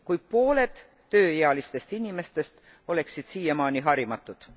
kui pooled tööealistest inimestest oleksid siiamaani harimatud.